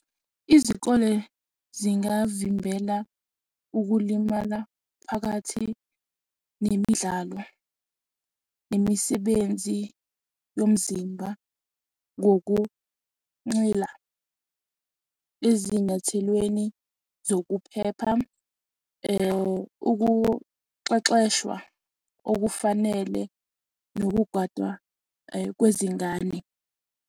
Izikole zingavimbela ukulimala phakathi nemidlalo nemisebenzi yomzimba ngokunxila ezinyathelweni zokuphepha, ukuxexeshwa okufanele nokugwadwa kwezingane.